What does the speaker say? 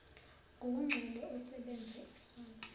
ngokugcwele osebenza isonto